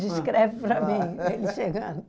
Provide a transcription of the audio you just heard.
Descreve para mim, ele chegando.